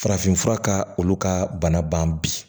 Farafinfura ka olu ka bana bi